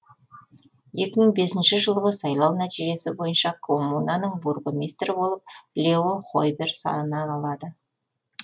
екі мың бесінші жылғы сайлау нәтижесі бойынша коммунаның бургомистрі болып лео хойбер саналады